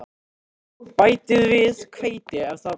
Bætið við hveiti ef með þarf.